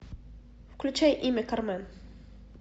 включай имя кармен